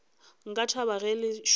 nka thaba ge le sona